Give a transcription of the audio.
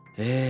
Ehh,